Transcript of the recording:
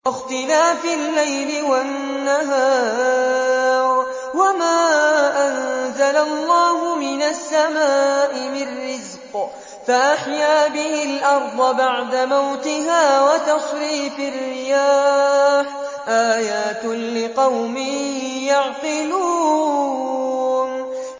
وَاخْتِلَافِ اللَّيْلِ وَالنَّهَارِ وَمَا أَنزَلَ اللَّهُ مِنَ السَّمَاءِ مِن رِّزْقٍ فَأَحْيَا بِهِ الْأَرْضَ بَعْدَ مَوْتِهَا وَتَصْرِيفِ الرِّيَاحِ آيَاتٌ لِّقَوْمٍ يَعْقِلُونَ